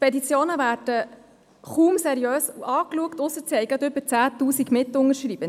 Petitionen werden kaum seriös angeschaut, es sei denn, sie hätten über 10 000 Mitunterzeichnende.